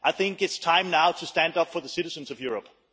It is time now to stand up for the citizens of Europe.